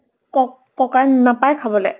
কক ককাক নাপায় খাবলে।